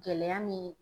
Gɛlɛya min